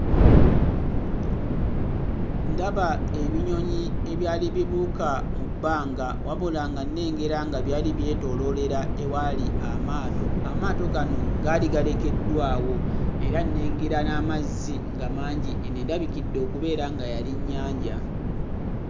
Ndaba ebinyonyi ebyali bibuuka mu bbanga wabula nga nnengera nga byali byetooloolera ewaali amaato. Amaato gano gaali galekeddwawo era nnengera n'amazzi nga mangi; eno endabikidde okubeera nga yali nnyanja.